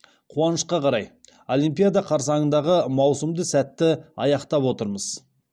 қуанышқа қарай олимпиада қарсаңындағы маусымды сәтті аяқтап отырмыз